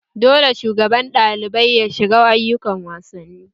Dole shugaban ɗalibai ya shiga ayukan wasanni!